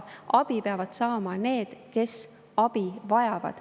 Abi peavad saama need, kes abi vajavad.